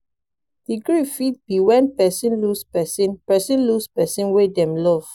the grief fit be when person lose person person lose person wey dem love